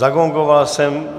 Zagongoval jsem.